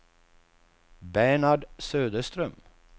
Bernhard Söderström